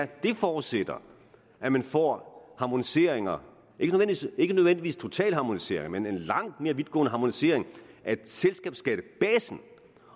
det forudsætter at man får harmoniseringer ikke nødvendigvis totale harmoniseringer men en langt mere vidtgående harmonisering af selskabsskattebasen